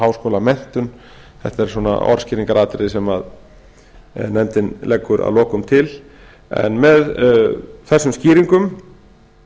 háskólamenntun þetta er orðskýringaratriði sem nefndin leggur að lokum til með þessum skýringum